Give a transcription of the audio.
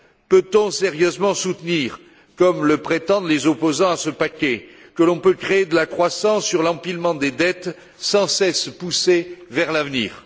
Peut on sérieusement soutenir comme le prétendent les opposants à ce paquet que l'on peut créer de la croissance sur l'empilement des dettes sans cesse poussées vers l'avenir?